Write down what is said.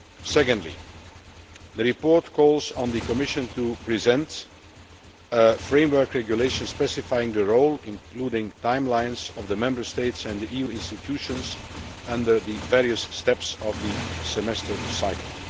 Secondly, the report calls on the Commission to present a framework regulation specifying the role including timelines of the Member States and the EU institutions at the various stages of the semester cycle.